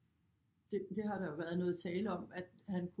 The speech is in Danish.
Det har der jo været noget tale om at han